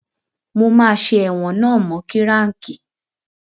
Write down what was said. Mo máa ṣe ẹ̀wọ̀n náà mọ́ kíráǹkì.